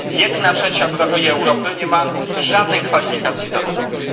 Jedna trzecia obywateli Europy nie ma żadnych kwalifikacji zawodowych.